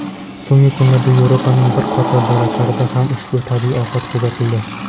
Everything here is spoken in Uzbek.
So‘nggi kunlarda Yevropaning bir qator davlatlarida ham ushbu tabiiy ofat kuzatildi.